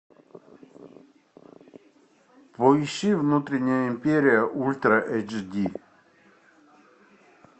поищи внутренняя империя ультра эйч ди